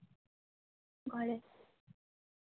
ঘরে